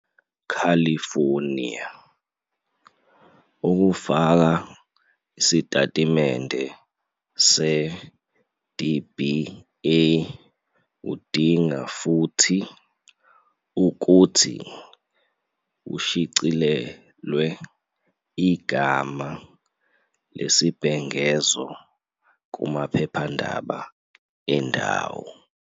California, ukufaka isitatimende se-DBA kudinga futhi ukuthi kushicilelwe igama lesibhengezo kumaphephandaba endawo